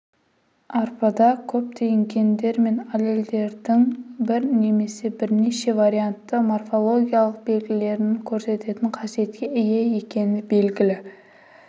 арпада көптеген гендер мен аллельдердің бір немесе бірнеше вариантты морфологиялық белгілерін көрсететін қасиетке ие екені белгілі